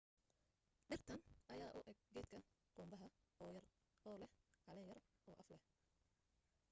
dhirtan ayaa u eg geedka qumbaha oo yer oo leh caleen yar oo af leh